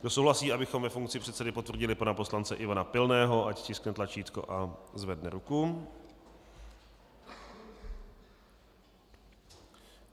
Kdo souhlasí, abychom ve funkci předsedy potvrdili pana poslance Ivana Pilného, ať stiskne tlačítko a zvedne ruku.